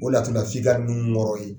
O laturu f'i ka Nuhun wɔɔrɔ ye